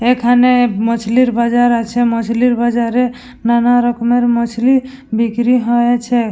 এখানে মছলির বাজার আছে মছলির বাজারে নানা রকমের মছলি বিক্রি হয়েছে।